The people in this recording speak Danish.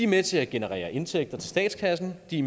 med til at generere indtægter til statskassen de